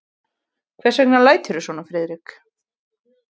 Hvers vegna læturðu svona, Friðrik?